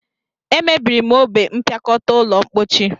E mebiri m ogbe mpiakota ulo mpochi